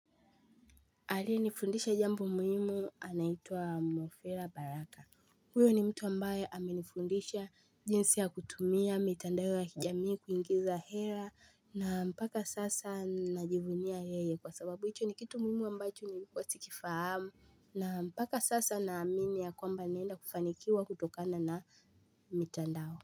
Aliye nifundisha jambo muhimu anaitwa Mofera baraka. Huyo ni mtu ambaye amenifundisha jinsi ya kutumia mitandao ya kijamii kuingiza hera na mpaka sasa najivunia yeye kwa sababu hicho ni kitu muhimu ambacho nilikuwa sikifahamu. Na mpaka sasa na amini ya kwamba naenda kufanikiwa kutokana na mitandao.